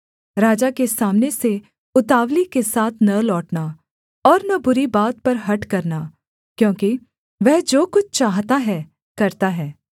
राजा के सामने से उतावली के साथ न लौटना और न बुरी बात पर हठ करना क्योंकि वह जो कुछ चाहता है करता है